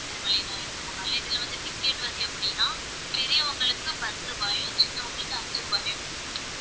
திருமலை நாயக்கர் மஹால்ல இதுல வந்து ticket வந்து எப்படின்னா பெரியவங்களுக்கு பத்து ரூபாயும் சின்னவங்களுக்கு அஞ்சு ரூபாயும்